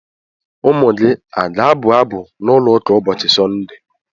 Ụmụ gị a ga-abụ abụ n’ụlọ ụka ụbọchị Sọnde?